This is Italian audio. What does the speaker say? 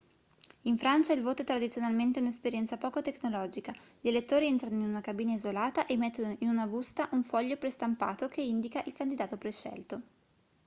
in francia il voto è tradizionalmente un'esperienza poco tecnologica gli elettori entrano in una cabina isolata e mettono in una busta un foglio prestampato che indica il candidato prescelto